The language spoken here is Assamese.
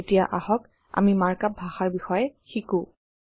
এতিয়া আহক আমি মাৰ্ক আপ ভাষৰ বিষয়ে শিকোঁ